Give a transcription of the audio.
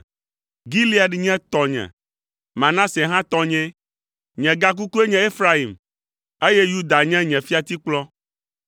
Gilead nye tɔnye, Manase hã tɔnyee; nye gakukue nye Efraim, eye Yuda nye nye fiatikplɔ.